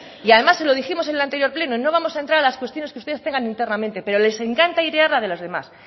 y además se lo dijimos en el anterior pleno no vamos a entrar a las cuestiones que ustedes tengan internamente pero les encanta airear la de los demás